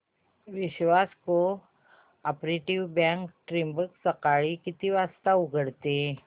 विश्वास cooperative bank Trimbak सकाळी किती वाजता उघडते